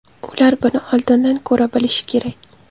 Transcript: Ular buni oldindan ko‘ra bilishi kerak.